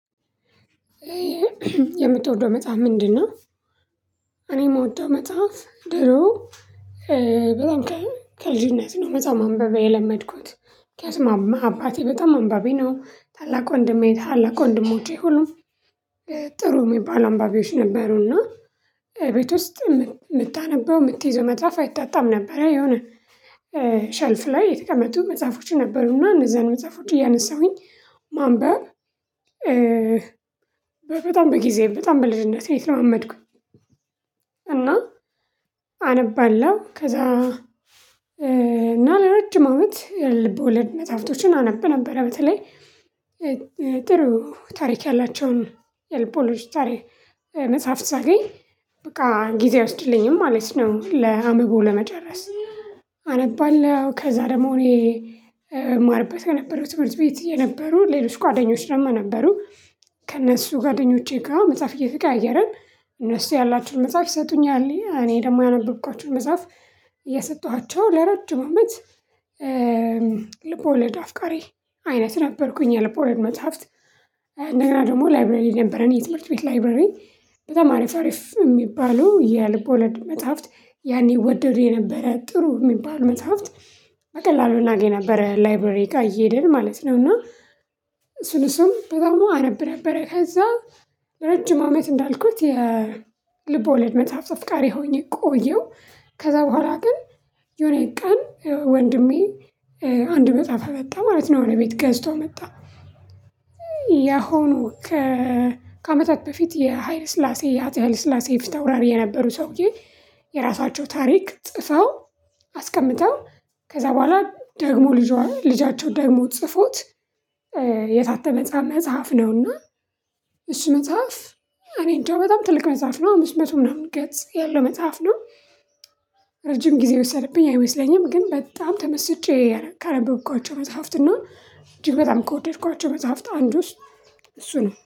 የምትወደው መጽሐፍ ምንድነው? እኔ የምወደው መጽሐፍ ድሮ በጣም ከልጅነት ነው መጽሐፍ ማንበብ የለመድኩት። ከስማማ አባቴ በጣም አንባቢ ነው። ታላቅ ወንድሜ ታላቅ ወንድሞቼ ሁሉም ጥሩ የሚባሉ አንባቢዎች ነበሩና ቤት ውስጥ የምታነበው የምትይዘው መጽሐፍ አይጣጣም ነበር። የሆነ ሸልፍ ላይ የተቀመጡ መጽሐፎች ነበሩና እነዛን መጽሐፎች እያነሳሁኝ ማንበብ በጣም በጊዜ በጣም በልጅነቴ ነው የተለማመድኩኝ። እና አነባለሁ ከዛ እና ለረጅም አመት ልብወለድ መጽሐፍቶችን አነብ ነበረ። በተለይ ጥሩ ታሪክ ያላቸውን የልብወለድ ታሪክ መጽሐፍ ሳገኝ በቃ ጊዜ አይወስድልኝም ማለት ነው። ለአንብቦ ለመጨረስ አነባለሁ ከዛ ደግሞ እኔ እማርበት የነበረው ትምህርት ቤት የነበሩ ሌሎች ጓደኞች ደግሞ ነበሩ። ከእነሱ ጋደኞቼ ጋር መጽሐፍ እየተቀያየረን እነሱ ያላቸዉን መጽሐፍ ይሰጡኛል እኔ ደግሞ ያነበብኳቸዉን መጽሐፍ የሰጠኋቸው ለረጅም አመት። ልብ ወለድ አፍቃሪ አይነት ነበርኩኝ። የልብ ወለድ መጽሐፍት እንደገና ደግሞ ላይብረሪ ነበረን የትምህርት ቤት ላይብረሪ። በጣም አሪፍ የሚባሉ የልብወለድ መጽሐፍት ያኔ እወደዱ የነበረ ጥሩ የሚባል መጽሐፍት በቀላሉ እናገኝ ነበረ ላይብረሪ ጋር እየሄደን ማለት ነው። እና እሱን እሱም በጣም አናብ ነበረ። ከዛ ረጅም አመት እንዳልኩት የልብወለድ መጽሐፍ አፍቃሪ ሆኜ ቆየሁ። ከዛ በኋላ ግን የሆነ ቀን ወንድሜ አንድ መጽሐፍ አመጣ ማለት ነው ወደ ቤት ገዝቶ መጣ። ያሁኑ ከአመታት በፊት የሀይል ስላሴ የአጼ ሀይለ ስላሴ ፊት አውራሪ የነበሩ ሰውዬ የራሳቸው ታሪክ ጽፈው አስቀምጠው ከዛ በኋላ ደግሞ ልጇ ልጃቸው ደግሞት ጽፎት የታተመ መጽሐፍ ነውና። እሱ መጽሐፍ እኔ እንደው በጣም ትልቅ መጽሐፍ ነው። አምስት መቶ ምናምን ገጽ ያለው መጽሐፍ ነው። ረጅም ጊዜ የወሰደብኝ አይመስለኝም ግን በጣም ተመስጬ ካነበብኳቸው መጽሐፍትና እጅግ በጣም ከወደድኳቸው መጽሐፍት አንዱስ እሱ ነው